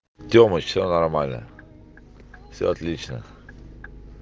тёмой все нормально все отлично